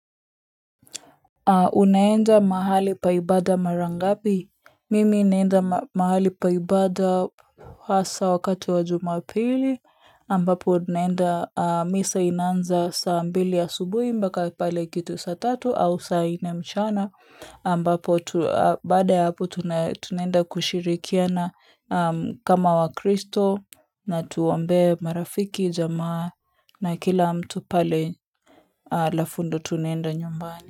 Unaenda mahali pa ibada mara ngapi? Mimi naenda mahali pa ibada haswa wakati wa Jumapili ambapo naenda misa inaanza saa mbili asubuhi mpaka pale kitu saa tatu au saa nne mchana ambapo tu baada ya hapo tunaenda kushirikiana kama wakristo na tuombe marafiki jamaa na kila mtu pale alafu ndio tunaenda nyumbani.